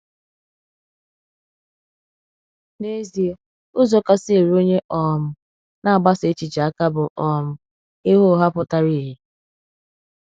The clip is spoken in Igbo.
N’ezie, ụzọ kasị eru onye um na-agbasa èchìchè aka bụ um ịgha ụgha pụtara ìhè.